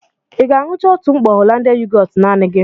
Ị ga-aṅucha otu mkpọ Hollandia yogọọtu naanị gị?